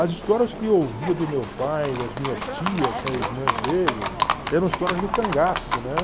As histórias que eu ouvia do meu pai, das minhas tias, né, irmãs dele, eram histórias do cangaço, né?